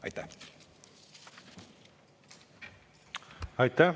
Aitäh!